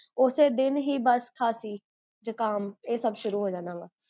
ਓਸੇ ਦਿਨ ਹੀ ਬੱਸ ਖਾਂਸੀ ਜ੍ਖਾਮ, ਇਹ ਸਬ ਸ਼ੁਰੂ ਹੋ ਜਾਂਦਾ